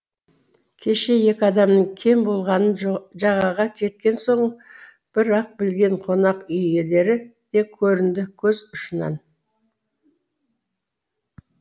кеше екі адамның кем болғанын жағаға жеткен соң бір ақ білген қонақ үй иелері де көрінді көз ұшынан